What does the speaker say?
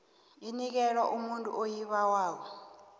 inikelwe umuntu oyibawako